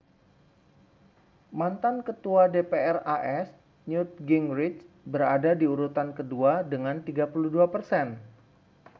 mantan ketua dpr as newt gingrich berada di urutan kedua dengan 32 persen